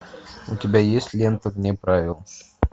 у тебя есть лента вне правил